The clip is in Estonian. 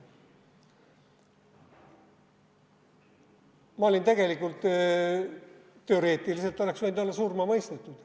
Ma teoreetiliselt oleks võinud olla surma mõistetud.